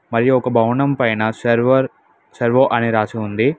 మరియు ఒక భవనం పైన సర్వర్ సర్వో అని రాసి ఉంది.